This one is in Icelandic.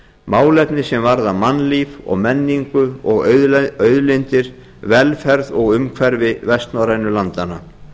málefni sem varða mannlíf og menningu og auðlindir velferð og umhverfi vestnorrænu landanna